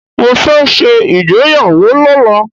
Mo fẹ́ ṣe ìgbéyàwó lọ́la.